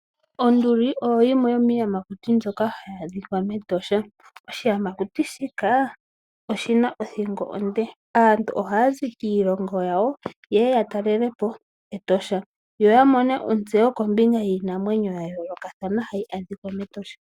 Onduli oyo yimwe yomiiyamakuti mbyoka hayi adhika meEtosha. Oshiyamakuti shika oshina othingo onde. Aantu ohaya zi kiilongo yawo ye ye ya talele po Etosha yo ya mone ontseyo kombinga yiinamwenyo ya yoolokathana hayi adhika metosha.